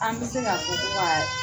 An bɛ se ka fɔ ko kaa